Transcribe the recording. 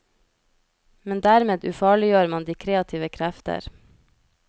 Men dermed ufarliggjør man de kreative krefter.